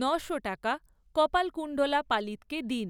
ন'শো টাকা কপালকুণ্ডলা পালিতকে দিন।